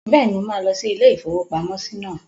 Bẹ́ẹ̀ni, mo máa lọ sí ilé-ìfowópamọ́sí náà